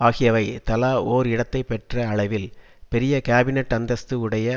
ஆகியவை தலா ஓர் இடத்தைப்பெற்ற அளவில் பெரிய காபினட் அந்தஸ்து உடைய